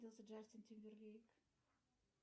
джастин тимберлейк